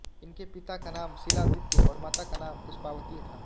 इनके पिता का नाम शिलादित्य और माता का नाम पुष्पावती था